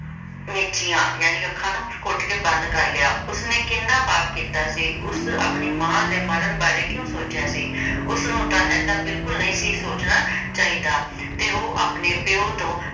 ਤੇ ਉਸਨੇ ਘੁੱਟ ਕੇ ਅੱਖਾਂ ਮੀਚੀਆਂ। ਜਾਣੀ ਕਿ ਅੱਖਾਂ ਨੂੰ ਘੁੱਟ ਕੇ ਬੰਦ ਕਰ ਲਿਆ, ਉਸ ਨੇ ਕਿੰਨਾ ਪਾਪ ਕੀਤਾ ਸੀ? ਉਸ ਆਪਣੀ ਮਾਂ ਦੇ ਮਰਨ ਬਾਰੇ ਕਿਉਂ ਸੋਚਿਆ ਸੀ ਉਸਨੂੰ ਤਾਂ ਏਦਾਂ ਬਿਲਕੁਲ ਨਹੀਂ ਸੀ ਸੋਚਣਾ ਚਾਹੀਦਾ ਤੇ ਉਹ ਆਪਣੇ ਪਿਓ ਤੋਂ